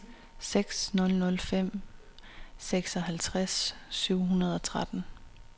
seks nul nul fem seksoghalvtreds syv hundrede og tretten